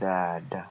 dáadáa.